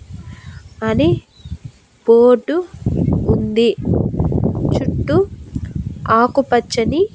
అని బోర్డు ఉంది చుట్టూ ఆకుపచ్చని--